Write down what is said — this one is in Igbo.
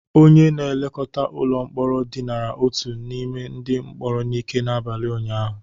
Onye na-elekọta ụlọ mkpọrọ dinara otu n'ime ndị mkpọrọ n'ike n'abalị ụnyaahụ